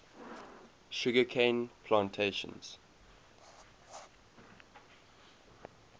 sugar cane plantations